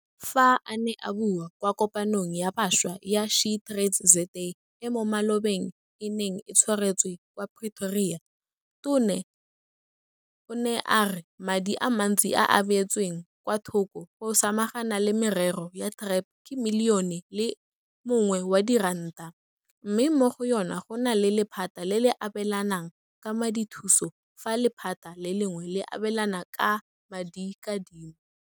Fa a ne a bua kwa Kopanong ya Bašwa ya SheTradesZA e mo malobeng e neng e tshwaretswe kwa Pretoria, Tona o ne a re madi a mantsi a a beetsweng kwa thoko go samagana le merero ya TREP ke Milione o le mongwe wa diranta, mme mo go yona go na le lephata le le abelanang ka madithuso fa lephata le lengwe le abelana ka madikadimo.